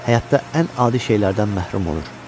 Həyatda ən adi şeylərdən məhrum olur.